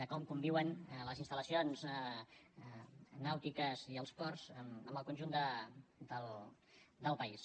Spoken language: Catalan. de com conviuen les instal·lacions nàutiques i els ports amb el conjunt del país